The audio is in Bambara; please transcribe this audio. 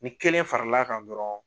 Ni kelen fara l'a kan dɔrɔn